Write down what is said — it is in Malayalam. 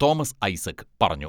തോമസ് ഐസക് പറഞ്ഞു.